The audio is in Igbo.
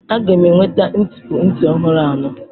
Aga m enweta ntipu nti ọhụrụ anọ.